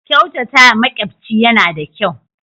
Kyautatawa makyafci yana da kyau.